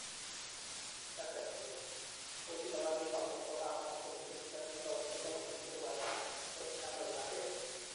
Jurgen Klopp:kochit nebo Liverpool kokamwa kole Chelsea ak Arsenal kotokomi rwaek ab kadoinatet